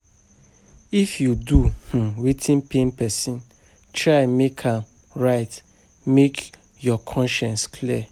If yu do um wetin pain pesin, try mek am right mek yur conscience clear.